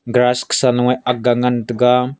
grass low a aga ngan taga.